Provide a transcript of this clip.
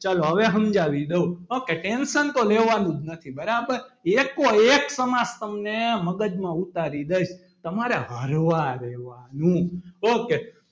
ચાલો હવે સમજાવી દઉં okay tention તો લેવાનું જ નથી બરાબર એકો એક સમાસ તમને મગજમાં ઉતારી દઈશ તમારે હરવા રહેવાનું ok